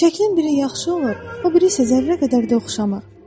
Şəklin biri yaxşı olur, o biri isə zərrə qədər də oxşamır.